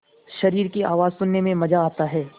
शरीर की आवाज़ सुनने में मज़ा आता है